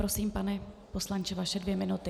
Prosím, pane poslanče, vaše dvě minuty.